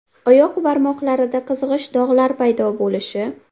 Oyoq barmoqlarida qizg‘ish dog‘lar paydo bo‘lishi.